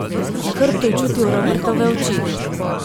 Na hrbtu je čutil Robertove oči.